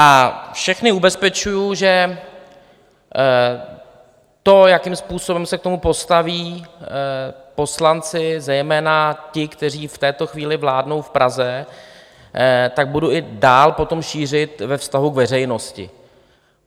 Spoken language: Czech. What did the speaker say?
A všechny ubezpečuji, že to, jakým způsobem se k tomu postaví poslanci, zejména ti, kteří v této chvíli vládnou v Praze, tak budu i dál potom šířit ve vztahu k veřejnosti.